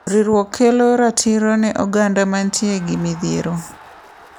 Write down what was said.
Riwruok kelo ratiro ne oganda mantie gi midhiero.